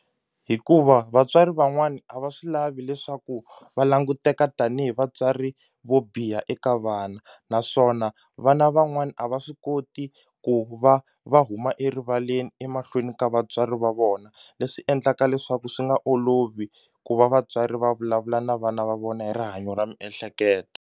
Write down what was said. Hikuva vatswari van'wani a va swi lavi leswaku va languteka tanihi vatswari vo biha eka vana naswona vana van'wani a va swi koti ku va va huma erivaleni emahlweni ka vatswari va vona leswi endlaka leswaku swi nga olovi ku va vatswari va vulavula na vana va vona hi rihanyo ra miehleketo.